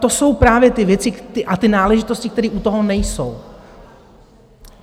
To jsou právě ty věci a ty náležitosti, které u toho nejsou.